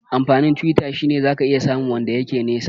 Amfanin Twitter shine zaka iya samu wanda yake nisa